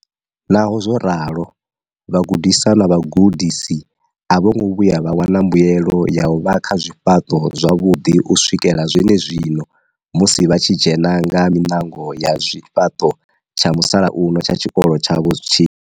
Naho zwo ralo, vhagudiswa na vhagudisi a vho ngo vhuya vha wana mbuelo ya u vha kha zwifhaṱo zwavhuḓi u swikela zwenezwino, musi vha tshi dzhena nga miṋango ya zwifhaṱo tsha musalauno tsha tshikolo tshavho tshi.